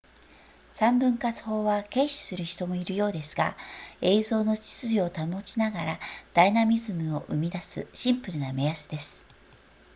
三分割法は軽視する人もいるようですが映像の秩序を保ちながらダイナミズムを生み出すシンプルな目安です